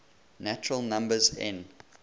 natural numbers n